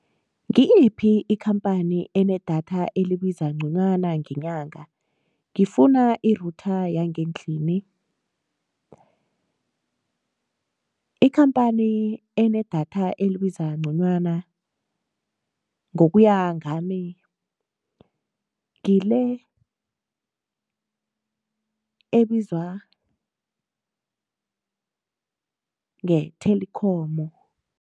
Ngiyiphi ikhamphani enedatha elibiza nconywana ngenyanga? Ngifuna i-router yangendlini. Ikhamphani enedatha elibiza nconywana ngokuya ngami ngile ebizwa nge-Telkom.